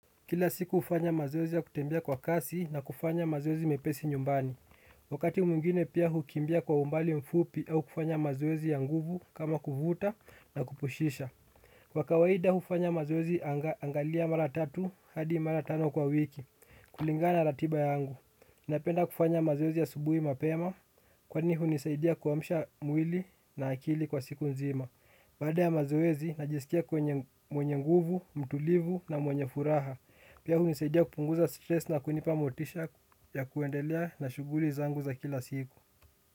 Kila siku ufanya mazoezi ya kutembea kwa kasi na kufanya mazoezi mepesi nyumbani. Wakati mwingine pia hukimbia kwa umbali mfupi au kufanya mazoezi ya nguvu kama kuvuta na kupushisha. Kwa kawaida ufanya mazoezi angalia mara tatu hadi mara tano kwa wiki. Kulingana na ratiba yangu napenda kufanya mazoezi asubuhi mapema. Kwani hunisaidia kuamsha mwili na akili kwa siku nzima. Baada ya mazoezi najisikia kwenye mwenye nguvu, mtulivu na mwenye furaha. Pia hunisaidia kupunguza stress na kunipa motisha ya kuendelea na shuguli zangu za kila siku.